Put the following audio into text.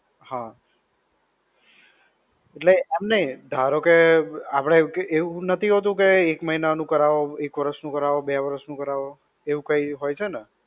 હા. એટલે એમ નઈ. ધારોકે આપણે એવું નથી હોતું એવું કે, એક મહિના નું કરવો, એક વરસ નું કરવો, બે વરસ નું કરવો, એવું કઈ હોય છે ને?